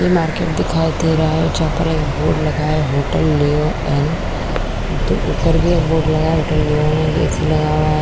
ये मार्केट दिखाई दे रहा है जहाँ पर एक बोर्ड लगा है होटल लियो एंड ऊपर भी एक बोर्ड --